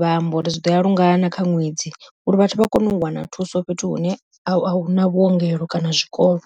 vha amba uri zwi ḓoya lungana kha ṅwedzi uri vhathu vha kone u wana thuso fhethu hune ahuna vhuongelo kana zwikolo.